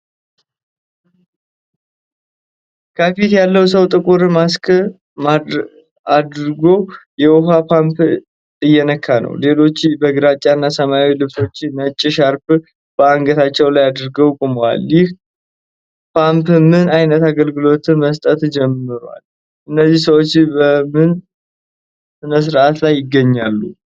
ከፊት ያለው ሰው ጥቁር ማስክ አድርጎ የውሃ ፓምፕ እየነካ ነው። ሌሎቹ በግራጫ እና ሰማያዊ ልብሶች፣ ነጭ ሻርፕ በአንገታቸው ላይ አድርገው ቆመዋል። ይህ ፓምፕ ምን ዓይነት አገልግሎት መስጠት ጀመረ? እነዚህ ሰዎች በምን ሥነ-ሥርዓት ላይ ይገኛሉ?